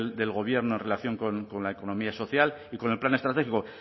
del gobierno en relación con la económica social y con el plan estratégico